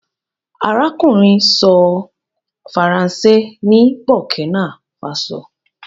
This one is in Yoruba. arákùnrin sọ Faransé ní burkina faso.